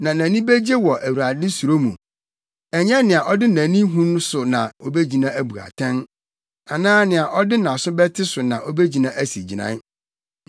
Na nʼani begye wɔ Awurade suro mu. Ɛnyɛ nea ɔde nʼani hu so na obegyina abu atɛn, anaa nea ɔde nʼaso bɛte so na obegyina asi gyinae;